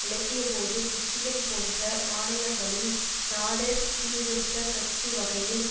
விளக்கியபோது Michigan போன்ற மாநிலங்களில் Nader சீர்திருத்த கட்சி வகையில்